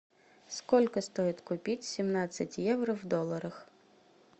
сколько стоит купить семнадцать евро в долларах